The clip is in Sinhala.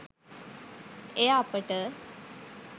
එය අපට